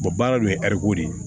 baara dun ye ko de ye